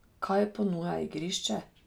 Kaj ponuja igrišče?